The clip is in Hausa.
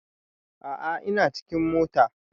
A a ina cikin mota.